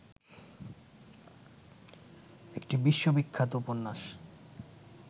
একটি বিশ্ববিখ্যাত উপন্যাস